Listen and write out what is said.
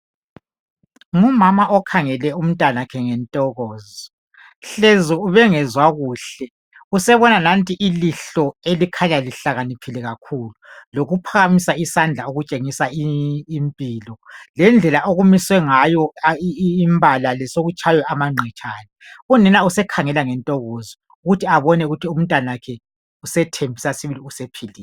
ngumama okhangele umntanakhe ngentokozo hlezi ubengezwa kuhle usebona nanti ilihlo elikhanya lihlakaniphile kakhulu lokuphakamisa isandla okutshingisa impilo lendlela okumise ngayo imbala le sokutshaye amangqetshane unina usekhangela ngentokozo ukuthi abone ukuthi umntanakhe usethembisa sibili ukuthi sephilile